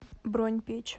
бронь печь